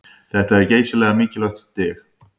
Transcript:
Þetta er geysilega mikilvægt stig